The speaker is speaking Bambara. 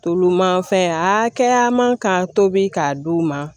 Tulu manfɛn a kɛya man ka tobi k'a di u ma